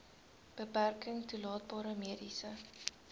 beperking toelaatbare mediese